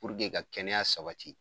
ka kɛnɛya sabati